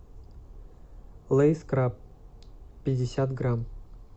лейс краб пятьдесят грамм